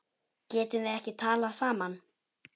Getum við ekki talað saman?